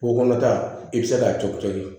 Ko kɔnɔta i bɛ se k'a co cori